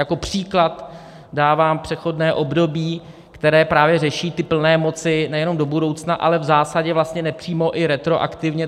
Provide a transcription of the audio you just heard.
Jako příklad dávám přechodné období, které právě řeší ty plné moci nejenom do budoucna, ale v zásadě vlastně nepřímo i retroaktivně.